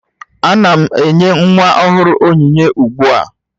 Ana m enye nwa ọhụrụ onyinye ugbu a